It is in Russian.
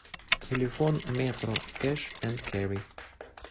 телефон метро кэш энд керри